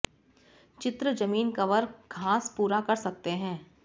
चित्र जमीन कवर घास पूरा कर सकते हैं